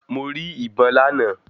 Mo rí ìbọn lánàá.